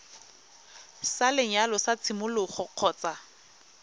sa lenyalo sa tshimologo kgotsa